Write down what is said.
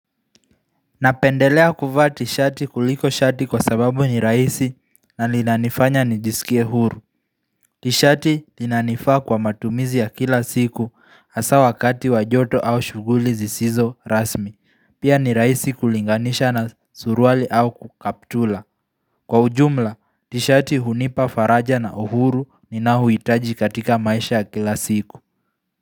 Napendelea kuvaa tishati kuliko shati kwa sababu ni raisi na linanifanya nijisikie huru. Tishati linanifaa kwa matumizi ya kila siku hasa wakati wa joto au shughuli zisizo rasmi. Pia ni raisi kulinganisha na suruali au ku kaptula. Kwa ujumla, tishati hunipa faraja na uhuru ninaouhitaji katika maisha ya kila siku.